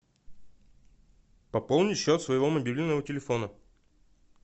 пополнить счет своего мобильного телефона